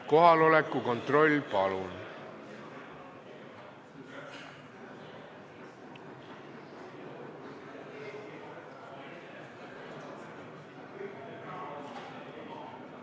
Kohaloleku kontroll, palun!